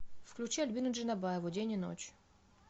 включи альбину джанабаеву день и ночь